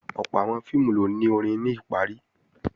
Ọ̀pọ̀ àwọn fíìmù ni ó ni orin ní ìparí